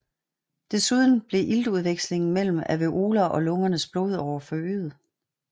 Desuden bliver iltudvekslingen mellem alveoler og lungernes blodårer forøget